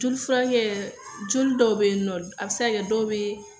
Jolifurakɛ joli dɔw be yen nɔn, a bi se ka kɛ dɔ be